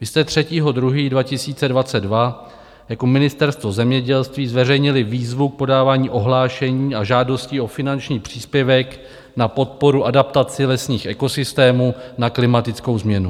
Vy jste 3. 2. 2022 jako Ministerstvo zemědělství zveřejnili výzvu k podávání ohlášení a žádostí o finanční příspěvek na podporu adaptaci lesních ekosystémů na klimatickou změnu.